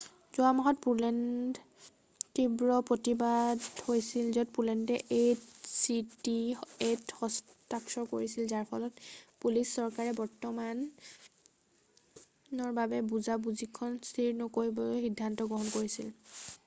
যোৱা মাহত পোলেণ্ড তীব্ৰ প্ৰতিবাদ হৈছিল যেতিয়া পোলেণ্ডে এ চি টি এত হস্তাক্ষৰ কৰিছিল যাৰ ফলত পলিছ চৰকাৰে বৰ্তমানৰ বাবে বুজা বুজিখনক স্থিৰ নকৰিবলৈ সিদ্ধান্ত গ্ৰহণ কৰিছিল